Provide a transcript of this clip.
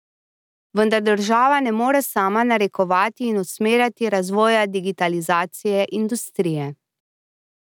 Vendar država ne more sama narekovati in usmerjati razvoja digitalizacije industrije.